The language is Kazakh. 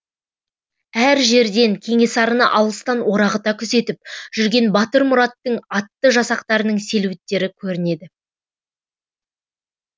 әр жерден кенесарыны алыстан орағыта күзетіп жүрген батырмұраттың атты жасақтарының селеуіттері көрінеді